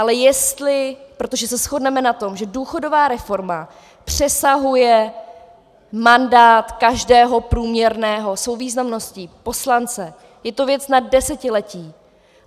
Ale jestli - protože se shodneme na tom, že důchodová reforma přesahuje mandát každého průměrného svou významností poslance, je to věc na desetiletí.